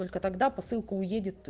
только тогда посылка уедет